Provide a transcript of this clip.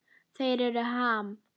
Þeir eru Ham.